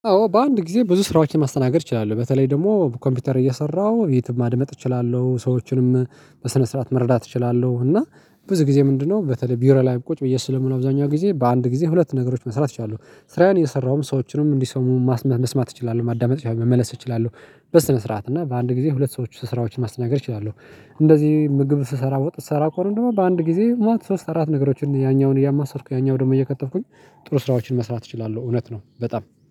አዎ በአንድ ጊዜ ብዙ ስራዎችን ማስተናገድ እችላለሁ በተለይ ደግሞ ኮምፒውተር እየሰራሁ የትም ማድመጥ እችላለሁ ሰዎችንም በስነ ስርዓት መረዳት እችላለሁ። እና ብዙ ጊዜ ምንድነው? በተለይ ቢሮ ላይ ቁጭ ብዬ ስለምሆን አብዛኛው ጊዜ በአንድ ጊዜ ሁለት ነገሮች መስራት ችለለው ስራውን እነሰራውም ሰዎችንም እንዲሰሙ ማስመስመስ መስማት እችላለሁ ማዳመጥ መመለስ እችላለሁ። በስነ ስርዓት እና በአንድ ጊዜ ሁለት ሰዎች ስራዎችን ማስተናገር እችላለሁ። እንደዚህ ምግብ ስሰራ ወጥ ስሰራ ከሆነ በአንድ ጊዜ ማለት ሶስት አራት ነገሮችን ያኛውን እያማሰልኩ ያኛውን ደግሞ እየከተፍኩኝ ጥሩ ስራዎችን መስራት እችላለሁ እውነት ነው። በጣም